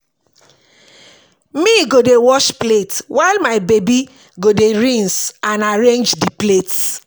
me go dey wash plate while my baby go dey rinse and arrange di plates